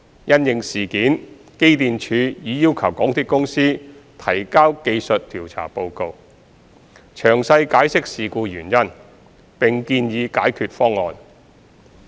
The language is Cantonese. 因應事件，機電署已要求港鐵公司提交技術調查報告，詳細解釋事故原因，並建議解決方案。